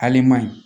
Haluman